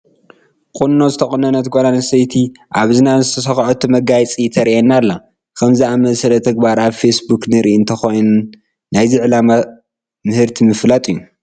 ቁኖ ዝተቆነነት ጓል ኣነስተይቲ ኣብ እዝና ንዝሰክዐቶ መጋየፂ ተርእየና ኣላ፡፡ ከምዚ ዝኣምሰለ ተግባር ኣብ ፌስ ቡክ ንርኢ እንትኾን ናይዚ ዕላማ ምህርቲ ንምፍላጥ እዩ፡፡